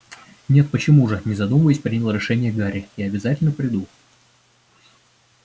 нет почему же не задумываясь принял решение гарри я обязательно приду